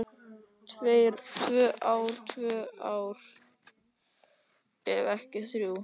Tvö ár, tvö ár, ef ekki þrjú.